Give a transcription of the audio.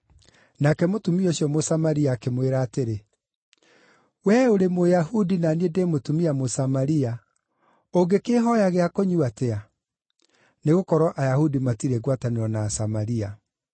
Nake mũtumia ũcio Mũsamaria akĩmwĩra atĩrĩ, “Wee ũrĩ Mũyahudi na niĩ ndĩ mũtumia Mũsamaria. Ũngĩkĩĩhooya gĩa kũnyua atĩa?” (Nĩgũkorwo Ayahudi matirĩ ngwatanĩro na Asamaria.)